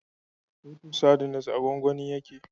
Titus sardines a gwangwani yake